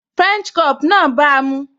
French crop náà bàa mu